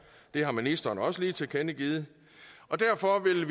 det har ministeren også lige tilkendegivet og derfor vil